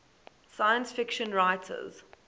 science fiction writers